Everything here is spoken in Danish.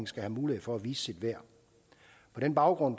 skal have mulighed for at vise sit værd på den baggrund